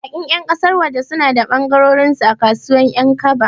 Baƙin ƴan ƙasar waje suna da ɓangarensu a kasuwar Ƴankaba.